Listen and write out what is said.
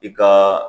I ka